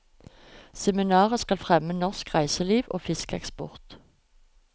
Seminaret skal fremme norsk reiseliv og fiskeeksport.